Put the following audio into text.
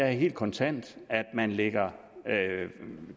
helt kontant at man lægger